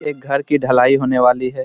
एक घर कि ढलाई होने वाली है।